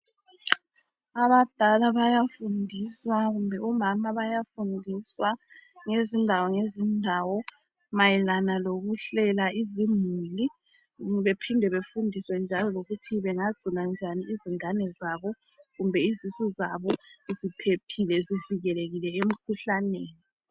Abadala bayafundiswa kumbe omama bayafundiswa ngezindawo ngezindawo mayelana lokuhlela izimuli bephinde befundiswe njalo lokuthi bengagcina njani izingane zabo kumbe izisu zabo ziphephile zivikelekile emkhuhlaneni